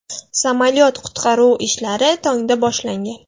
Samolyot qutqaruv ishlari tongda boshlangan.